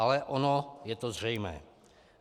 Ale ono je to zřejmé.